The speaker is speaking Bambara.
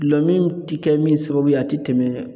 Gulɔmin ti kɛ min sababu ye a tɛ tɛmɛ